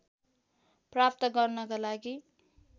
प्राप्त गर्नका लागि